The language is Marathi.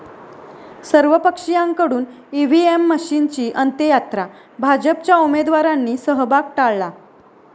सर्वपक्षीयांकडून ईव्हीएम मशीनची अंत्ययात्रा, भाजपच्या उमेदवारांनी सहभाग टाळला